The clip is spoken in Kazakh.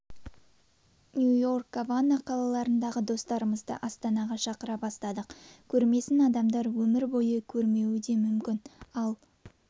нью-йорк гавана қалаларындағы достарымызды астанаға шақыра бастадық көрмесін адамдар өмір бойы көрмеуі де мүмкін ал